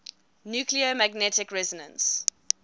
nuclear magnetic resonance